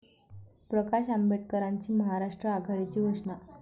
प्रकाश आंबेडकरांची महाराष्ट्र आघाडीची घोषणा